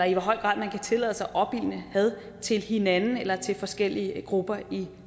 i hvor høj grad man kan tillade sig at opildne had til hinanden eller til forskellige grupper i